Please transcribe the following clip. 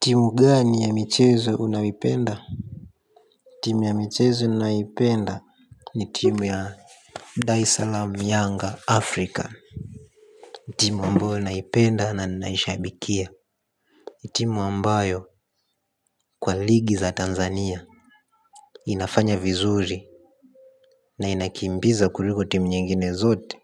Timu gani ya michezo unayoipenda? Timu ya michezo ninayoipenda ni timu ya Dar es Salaam Yanga Afrika. Timu ambayo naipenda na naishabikia. Timu ambayo kwa ligi za tanzania inafanya vizuri na inakimbiza kuliko timu nyingine zote